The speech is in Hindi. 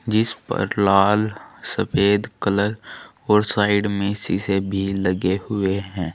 जिस पर लाल सफेद कलर और साइड में शीशे भी लगे हुए हैं।